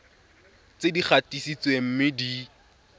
tse di gatisitsweng mme di